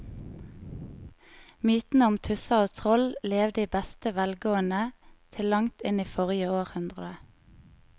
Mytene om tusser og troll levde i beste velgående til langt inn i forrige århundre.